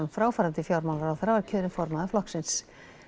fráfarandi fjármálaráðherra var kjörinn formaður flokksins